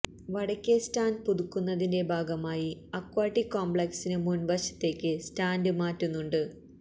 വടക്കേ സ്റ്റാൻഡ് പുതുക്കുന്നതിന്റെ ഭാഗമായി അക്വാട്ടിക് കോംപ്ലക്സിനു മുൻവശത്തേക്ക് സ്റ്റാൻഡ് മാറ്റുന്നുണ്ട്